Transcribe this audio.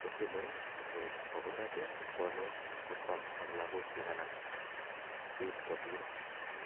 kotile akoib kwa kurgaat ib konuus sikwam ak logbook chik anan koib kwo ndonyoo